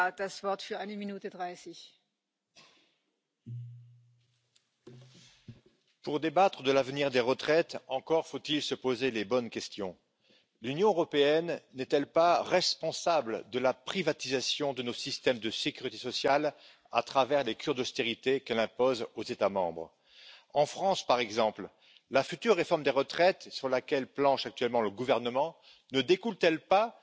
En dat maatwerk kan vooral op nationaal niveau geleverd worden. Dat betekent echter niet dat we geen gezamenlijke uitdaging hebben. Vergrijzing, bijvoorbeeld, vindt in alle Europese landen plaats. Aan het begin van de eeuw telden we ongeveer vier werkenden per gepensioneerde. Over een aantal decennia zijn we teruggevallen naar twee werkenden die de lasten voor één gepensioneerde zullen moeten betalen. We staan dus voor een enorme uitdaging als het gaat om de betaalbaarheid van met name de eerste pijler. Die uitdaging is er in alle landen.